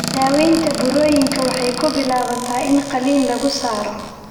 Daaweynta burooyinkan waxay ku bilaabataa in qaliin lagu saaro.